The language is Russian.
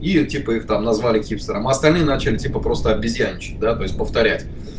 и типа их там назвали хипстером а остальные начали типа просто обезьянничать да то есть повторять